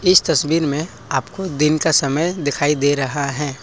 इस तस्वीर में आपको दिन का समय दिखाई दे रहा है।